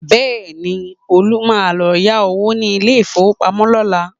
Bẹ́ẹ̀ni, Olú máa lọ yá owó ní ilé-ìfowópamọ́ lọ́la